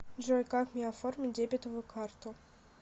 джой как мне оформить дебетовую карту